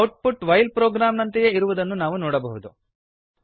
out ಪುಟ್ while program ನಂತೆಯೇ ಇರುವುದನ್ನು ನಾವು ನೋಡಬಹುದು